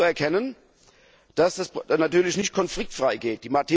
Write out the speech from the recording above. Nun ist anzuerkennen, dass das natürlich nicht konfliktfrei geht.